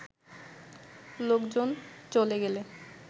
লোকজন চ’লে গেলে